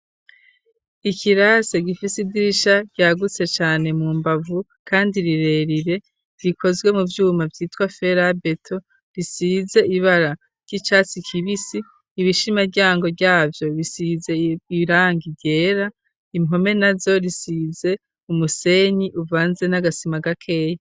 Ikirase gifise idirisha ryagutse cyane mu mbavu kandi rirerire rikozwe mu byuma byitwa fera beto risize ibara ry'icatsi kibisi ibishima ryango byabyo bisize irang igera impome nazo risize umusenyi uvanze n'agasima gakeya.